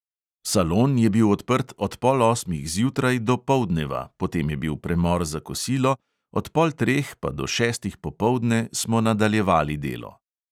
"Salon je bil odprt od pol osmih zjutraj do poldneva, potem je bil premor za kosilo, od pol treh pa do šestih popoldne smo nadaljevali delo."